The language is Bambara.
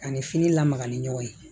Ani fini lamaga ni ɲɔgɔn ye